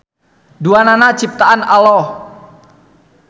Duanana ciptaan Alloh.